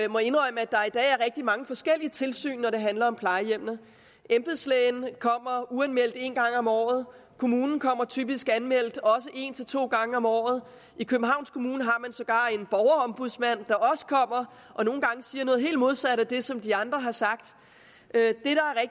og må indrømme at der i dag er rigtig mange forskellige tilsyn når det handler om plejehjem embedslægen kommer uanmeldt en gang om året kommunen kommer typisk anmeldt også en til to gange om året i københavns kommune har man sågar en borgerombudsmand der også kommer og nogle gange siger noget helt modsat af det som de andre har sagt